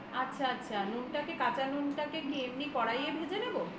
আচ্ছা আচ্ছা কাচা নুনটাকে কি এমনি করাই এতে ভেজে নেবে